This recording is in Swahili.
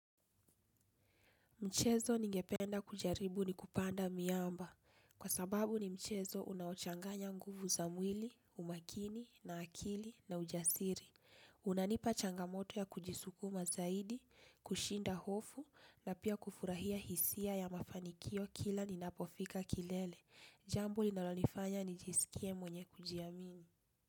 Mchezo ningependa kujaribu ni kupanda miamba. Kwa sababu ni mchezo unaochanganya nguvu za mwili, umakini, na akili, na ujasiri. Unanipa changamoto ya kujisukuma zaidi, kushinda hofu, na pia kufurahia hisia ya mafanikio kila ninapofika kilele. Jambu linalonifanya nijisikie mwenye kujiamini.